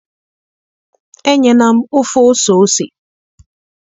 enyena m ofe ose ose!